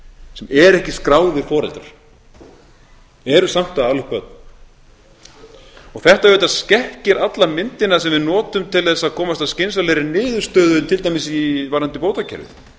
sem eru ekki skráðir foreldrar eru samt að ala upp börn og þetta auðvitað skekkir alla myndina sem við notum til þess að komast að skynsamlegri niðurstöðu til dæmis varðandi bótakerfið